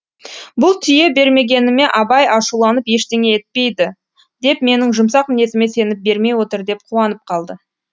бұл түйе бермегеніме абай ашуланып ештеңе етпейді деп менің жұмсақ мінезіме сеніп бермей отыр деп қуанып қалды